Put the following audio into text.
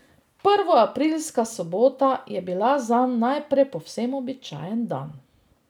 Prvoaprilska sobota je bila zanj najprej povsem običajen dan.